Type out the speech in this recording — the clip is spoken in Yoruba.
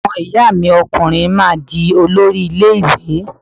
Ọmọ ìyá mi ọkùnrin máa di olórí ilé ìwé